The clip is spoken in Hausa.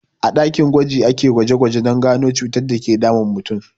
A ɗakin gwaji akeyin gwaje gwaje don gano cutar dake damun mutum